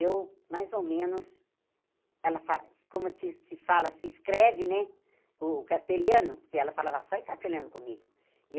eu, mais ou menos, ela fala, como se se fala, se escreve, né, o castelhano, porque ela falava só em castelhano comigo.